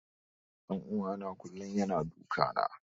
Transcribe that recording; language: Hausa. Ɗan uwana kullum yana duka na.